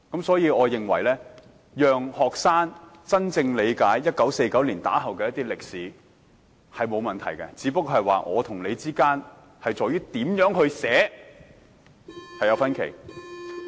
所以，我認為讓學生學習1949年之後的歷史並無問題，只是我們對這段歷史該怎樣撰寫有分歧。